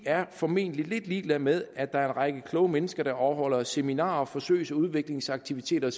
er formentlig lidt ligeglade med at der er en række kloge mennesker der afholder seminarer og forsøgs og udviklingsaktiviteter og